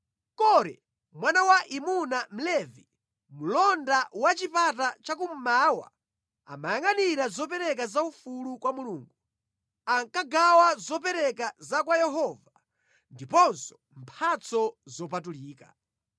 Kore mwana wa Imuna Mlevi, mlonda wa Chipata Chakummawa, amayangʼanira zopereka zaufulu kwa Mulungu, ankagawa zopereka za kwa Yehova ndiponso mphatso zopatulika.